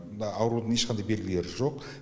мұнда аурудың ешқандай белгілері жоқ